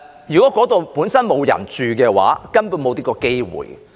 如果該處本身沒有人居住，他們根本便沒有這個機會。